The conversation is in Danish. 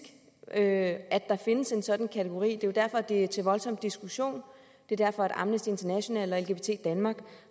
at der findes en sådan kategori det er jo derfor det er til voldsom diskussion det er derfor amnesty international og lgbt danmark